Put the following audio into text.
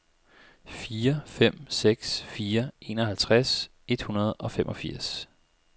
fire fem seks fire enoghalvtreds et hundrede og femogfirs